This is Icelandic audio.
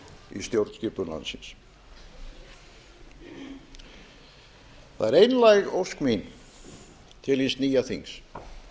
í stjórnskipun landsins það er einlæg ósk mín til hins nýja þings að